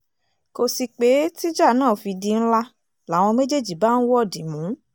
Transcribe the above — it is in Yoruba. kò sí pé tíjà náà fi di ńlá làwọn méjèèjì bá ń wọ̀dìmù